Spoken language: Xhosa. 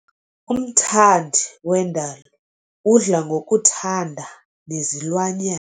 Umthandi wendalo udla ngokuthanda nezilwanyana.